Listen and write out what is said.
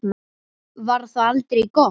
Var það aldrei gott?